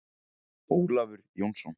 Ólafur Jónsson.